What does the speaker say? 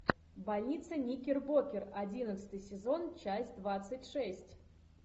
больница никербокер одиннадцатый сезон часть двадцать шесть